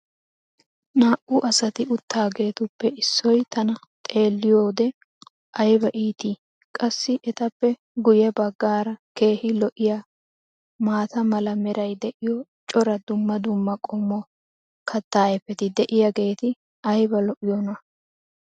naa'u asati utaageetuppe issoy tana xeeliyoode aybba iittii. qassi etappe guye bagaara keehi lo'iyaa maata mala meray diyo cora dumma dumma qommo kataa ayfeti diyaageti ayba lo'iyoonaa?